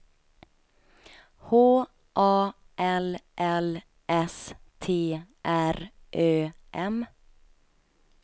H A L L S T R Ö M